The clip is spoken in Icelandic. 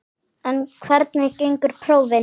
En hvernig gengu prófin?